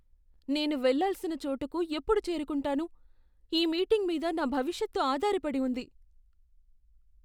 నేను వెళ్ళాల్సిన చోటుకు ఎప్పుడు చేరుకుంటాను? ఈ మీటింగ్ మీద నా భవిష్యత్తు ఆధారపడి ఉంది.